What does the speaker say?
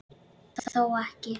Þó ekki.?